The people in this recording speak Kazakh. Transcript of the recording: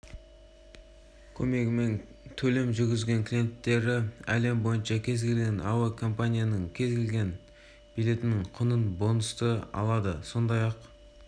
көмегімен төлем жүргізген клиенттері әлем бойынша кез келген әуекомпанияның кез келген билеттің құнынан бонусты алады сондай-ақ